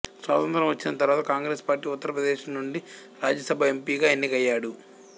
స్వాతంత్ర్యం వచ్చిన తర్వాత కాంగ్రెస్ పార్టీ ఉత్తర ప్రదేశ్ నుండి రాజ్యసభ ఎంపీగా ఎన్నికయ్యాడు